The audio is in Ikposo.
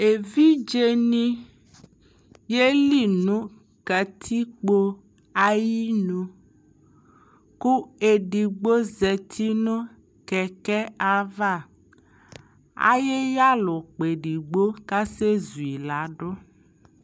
Evidze ni yeli nʋ katikpo ayinʋ kʋ ɛdigbo zati nʋ kɛkɛ ava Ayiyalɛ ʋkpa ɛdigbo kasɛ zu yi la dʋ